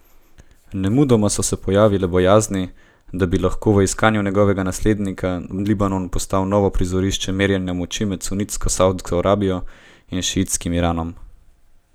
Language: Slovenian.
Nemudoma so se pojavile bojazni, da bi lahko v iskanju njegovega naslednika Libanon postal novo prizorišče merjenja moči med sunitsko Savdsko Arabijo in šiitskim Iranom.